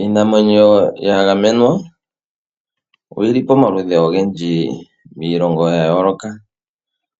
Iinamwenyo yagamwena oyili pamaludhi ogendji miilongo yayooloka.